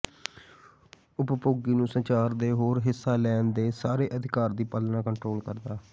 ਉਪਭੋਗੀ ਨੂੰ ਸੰਚਾਰ ਦੇ ਹੋਰ ਹਿੱਸਾ ਲੈਣ ਦੇ ਸਾਰੇ ਅਧਿਕਾਰ ਦੀ ਪਾਲਣਾ ਕੰਟਰੋਲ ਕਰਦਾ ਹੈ